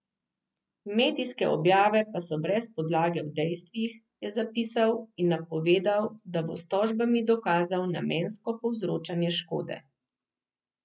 Medijske objave pa so brez podlage v dejstvih, je zapisal, in napovedal, da bo s tožbami dokazal namensko povzročanje škode.